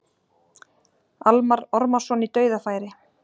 Almarr Ormarsson í dauðafæri.